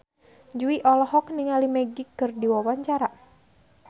Jui olohok ningali Magic keur diwawancara